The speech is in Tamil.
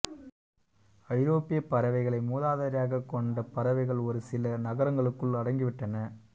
ஐரோப்பியப் பறவைகளை மூதாதையராகக் கொண்ட பறவைகள் ஒரு சில நகரங்களுக்குள் அடங்கிவிட்டன